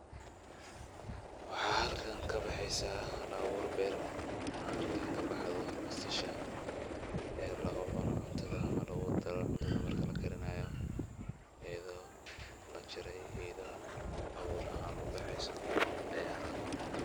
Waxa xalkan kabeheysa hal abuur beer an arka kabaxdo basasha ee lagucuno cuntada ama lagudaro cuntada marki lakarinayo, ayado lajare iyo ayado abuur ubaxeysa aya xalkan kamugata.